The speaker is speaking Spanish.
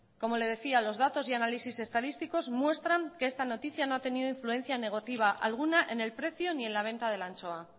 como le decía los datos y análisis estadísticos muestran que esta noticia no ha tenido influencia negativa alguna en el precio ni en la venta de la anchoa